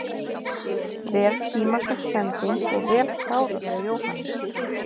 Vel tímasett sending og vel klárað hjá Jóhanni.